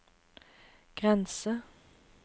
grense